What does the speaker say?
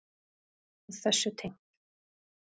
Og þessu tengt.